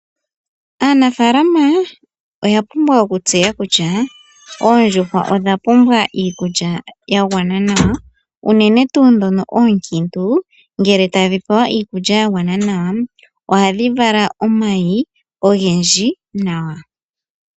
Aanafaalama oya pumbwa okutseya kutya oondjuhwa odha pumbwa iikulya yagwana nawa. Oondjuhwa ndhoka oonkiintu ngele odhapewa iikulya yagwana, ohadhi vala omayi ogendji nawa.